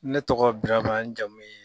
Ne tɔgɔ Daba, n jamu ye